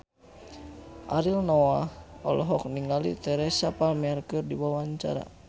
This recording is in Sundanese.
Ariel Noah olohok ningali Teresa Palmer keur diwawancara